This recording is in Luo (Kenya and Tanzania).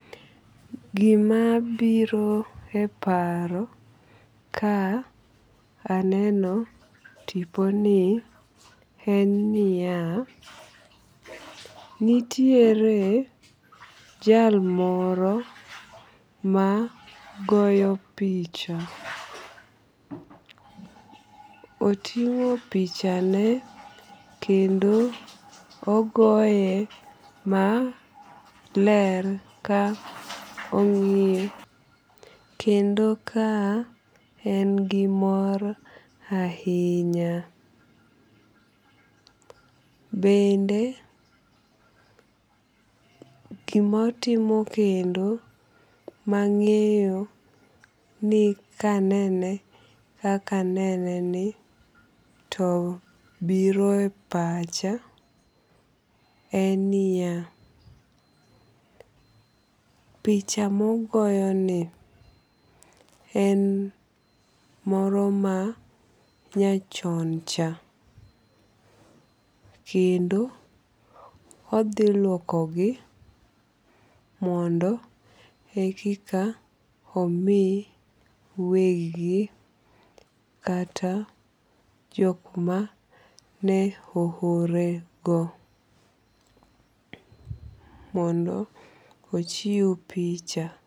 Gimabiro e paro ka aneno tiponi en niya, nitiere jal moro ma goyo picha, otingo pichane kendo ogoye maler ka ong'iye kendo ka en gi mor ahinya, bende gima otimo kendo mang'eyo ni ka anene kaka aneni to biro e pacha en niya picha mogoyoni en moro manyachion cha kendo othi luokogi mondo e kika omi wegi kata jok ma ne ohorego mondo ochiw picha